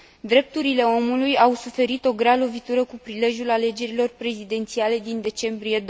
Drepturile omului au suferit o grea lovitură cu prilejul alegerilor prezidențiale din decembrie